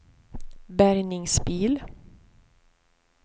bärgningsbil